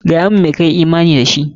Gaya mun me ka yi imani da shi!